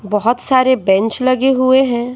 बहुत सारे बेंच लगे हुए हैं।